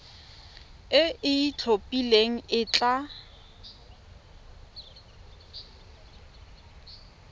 e e itlhophileng e tla